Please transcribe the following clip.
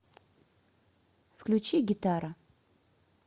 включи гитара